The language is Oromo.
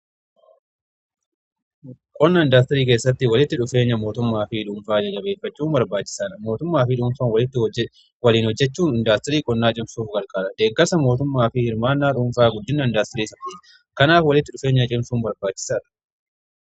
Qonnaa indaastirii keessatti walitti dhufeenya mootummaa fi dhuunfaa jajabeeffachuu barbaachisaadha. Mootummaa fi dhuunfaan waliin hojjechuu indaastirii qonnaa cimsuuf garqaara. Deeggasa mootummaa fi hirmaanaa dhuunfaa guddina indaastiriitiif kanaaf walitti dhufeenya cimsuu barbaachisaadha.